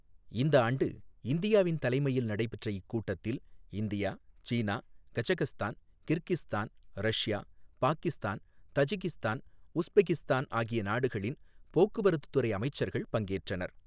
இந்த ஆண்டு இந்தியாவின் தலைமையில் நடைபெற்ற இக்கூட்டத்தில் India, China, Kazakhstan, Kyrgyzstan, Russia, Pakistan, Tajikistan, Uzbekistan ஆகிய நாடுகளின் போக்குவரத்துத் துறை அமைச்சர்கள் பங்கேற்றனர்.